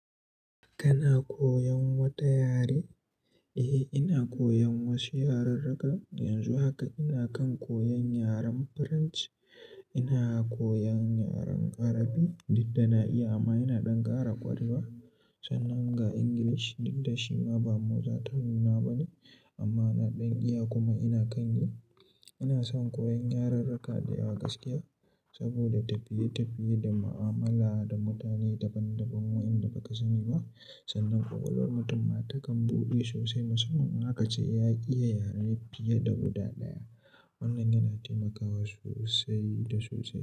Kana koyan wata yare? Eh, ina koyan wasu yarurruka. Yanzu haka ina kan koyan yaren French. Ina koyan yaren Arabi, duk da na iya amma ina dan kara ƙwarewa. Sannan ga Ingilishi duk da shi ma ba muza zata. Nuna bane amma na dan iya kuma ina kan yi. Ina son koyan yarurruka da yawa gaskiya saboda tafiye tafiye da mu'amala da mutane daban daban wa'inda baka sani ba. Sannan ƙwaƙwalwar mutum ma takan buɗe sosai. Musamman in aka ce ya iya yare fiye da guda ɗaya. Wannan yana taimakawa sosai da sosai.